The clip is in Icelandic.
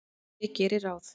Ég geri ráð